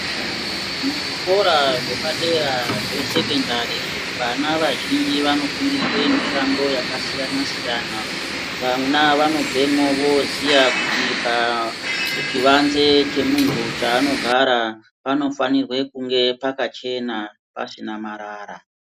Muzvikora zvepadera zvesekendari, vana vazhinji vanofundiswe mishando yakasiyana-siyana. Vana vanobvemwo voziya kuti pachivanze chemunhu chaanogara ,panofanirwe kunge pakachena pasina marara.